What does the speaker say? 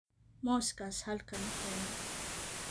Muuskaas halkan keena